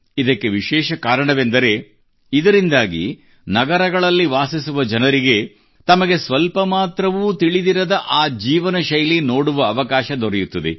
ಇದಕ್ಕೆ ವಿಶೇಷ ಕಾರಣವೆಂದರೆ ಇದರಿಂದಾಗಿ ನಗರಗಳಲ್ಲಿ ವಾಸಿಸುವ ಜನರಿಗೆ ತಮಗೆ ಸ್ವಲ್ಪ ಮಾತ್ರವೂ ತಿಳಿದಿರದ ಆ ಜೀವನ ಶೈಲಿ ನೋಡುವ ಅವಕಾಶ ದೊರೆಯುತ್ತದೆ